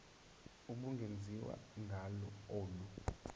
ubungenziwa ngalo olu